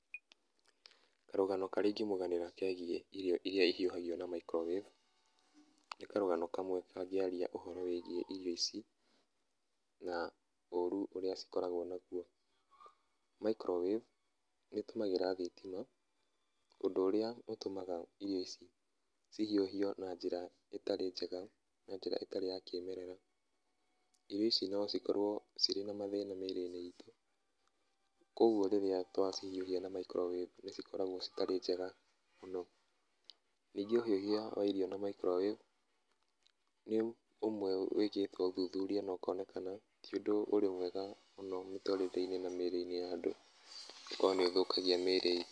Karũgano karĩa ingĩmũganĩra kegiĩ irio iria ihiũhagio na microwave, nĩ karũgano kamwe kangĩaria ũhoro wĩgiĩ irio ici, na oru ũrĩa cikoragwo naguo. Microwave nĩ ĩtũmagĩra thitima, ũndũ ũrĩa ũtũmaga irio ici cihiũhio na njĩra ĩtarĩ njega, na njĩra ĩtarĩ ya kĩmerera. Irio ici no cikorwo cirĩ na mathĩna mĩrĩ-inĩ itũ kũguo rĩrĩa twacihiũhia na microwave nĩ cikoragwo citarĩ njega mũno, ningĩ ũhiũhia wa irio na microwave nĩ ũmwe wĩkĩtwo ũthuthuria na ũkonekana ti ũndũ ũrĩ mwega mũno mĩtũrĩre-inĩ na mĩrĩ-inĩ ya andũ, gũkorwo nĩ ũthũkagia mĩrĩ.